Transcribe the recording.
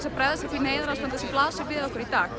að bregðast við því neyðarástandi sem blasir við okkur í dag